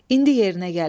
İndi yerinə gəlib.